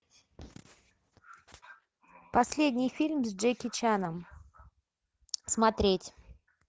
последний фильм с джеки чаном смотреть